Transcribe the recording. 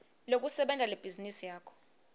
lekusebenta lebhizinisi yakho